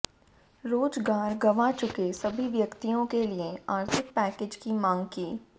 रोजगार गवाँ चुके सभी व्यक्तियों के लिए आर्थिक पैकेज की मांग की